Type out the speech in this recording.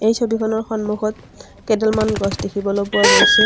এই ছবিখনৰ সন্মুখত কেডালমান গছ দেখিবলৈ পোৱা গৈছে।